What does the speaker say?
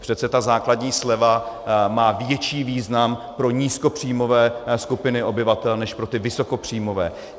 Přece ta základní sleva má větší význam pro nízkopříjmové skupiny obyvatel než pro ty vysokopříjmové.